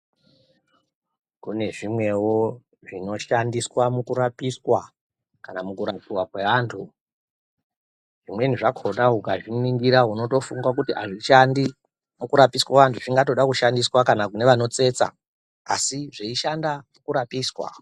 Kune zvimwewo zvinoshandiswa mukurapiswa kana mukurapiwa kweantu zvimweni zvakhona ukazviningira unotofunga kuti azvishandi mukurapiswa anhu zvingatoda kushandiswa kana kune vanotsetsa asi zveishanda kurapiswa.